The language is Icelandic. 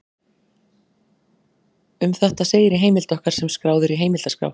Um þetta segir í heimild okkar sem skráð er í heimildaskrá: